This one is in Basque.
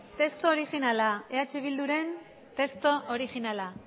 testu originala eh bilduren testu originala